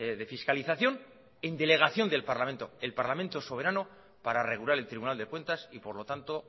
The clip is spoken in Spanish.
de fiscalización en delegación del parlamento el parlamento es soberano para regular el tribunal de cuentas y por lo tanto